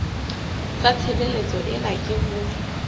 sa tshebeletso ena ke ho